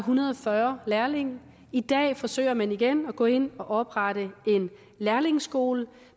hundrede og fyrre lærlinge i dag forsøger man igen at gå ind og oprette en lærlingeskole